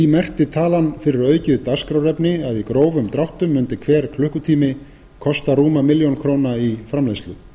merkti talan fyrir aukið dagskrárefni að í grófum dráttum mundi hver klukkutími kosta rúma milljón króna í framleiðslu